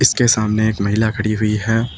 इसके सामने एक महिला खड़ी हुई है।